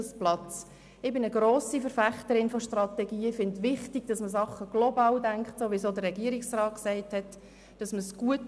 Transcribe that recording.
Ich bin eine grosse Verfechterin von Strategien, ich finde es wichtig, dass man Dinge global denkt, wie es auch der Regierungsrat gesagt hat.